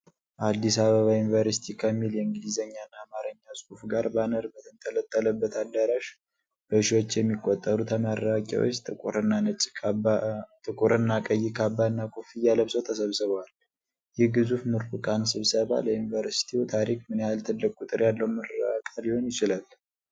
አዲስ አበባ ዩኒቨርሲቲ ከሚል የእንግሊዝኛና አማርኛ ጽሑፍ ጋር ባነር በተንጠለጠለበት አዳራሽ፤ በሺዎች የሚቆጠሩ ተመራቂዎች ጥቁርና ቀይ ካባና ኮፍያ ለብሰው ተሰብስበዋል። ይህ ግዙፍ ምሩቃን ስብሰባ ለዩኒቨርሲቲው ታሪክ ምን ያህል ትልቅ ቁጥር ያለው ምረቃ ሊሆን ይችላል?